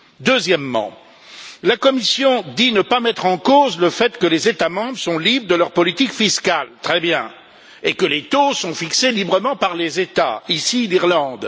Deuxièmement, la Commission dit ne pas mettre en cause le fait que les États membres sont libres de leur politique fiscale très bien et que les taux sont fixés librement par les États ici, l'Irlande.